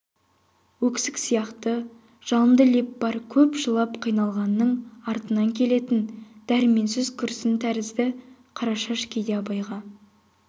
өксік сияқты жалынды леп бар көп жылап қиналғанның артынан келетін дәрменсіз күрсін тәрізді қарашаш кейде абайға